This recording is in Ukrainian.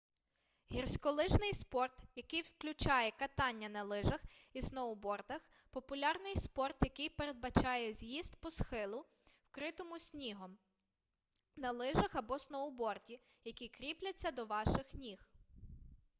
гірськолижний спорт який включає катання на лижах і сноубордах популярний спорт який передбачає з'їзд по схилу вкритому снігом на лижах або сноуборді які кріпляться до ваших ніг